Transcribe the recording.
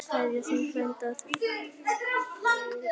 Kveðja, þinn frændi Friðrik Jónas.